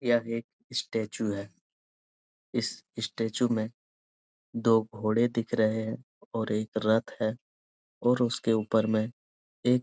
यह एक स्टेचू है इस स्टेचू में दो घोड़े दिख रहे हैं और एक रथ है और उसके ऊपर में एक --